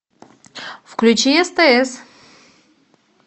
включи стс